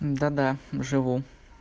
да-да живу